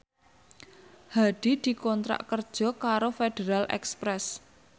Hadi dikontrak kerja karo Federal Express